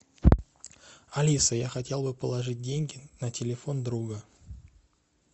алиса я хотел бы положить деньги на телефон друга